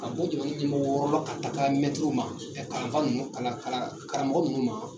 Ka bɔ ɲɛmɔgɔ wɔrɔ la ka taga mɛtiriw ma ka kalan fa ninnu kalan kara karamɔgɔ ninnu ma.